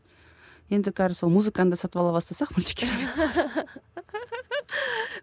енді сол музыканы да сатып ала бастасақ